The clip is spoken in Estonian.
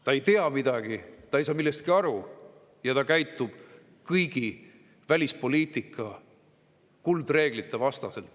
Ta ei tea midagi, ta ei saa millestki aru ja ta käitub kõigi välispoliitika kuldreeglite vastaselt.